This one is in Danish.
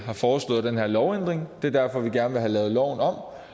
har foreslået den her lovændring det er derfor at vi gerne vil have lavet loven om